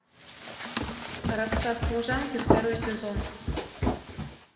рассказ служанки второй сезон